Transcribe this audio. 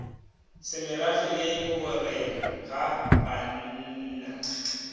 semerafe le gorena ga bannna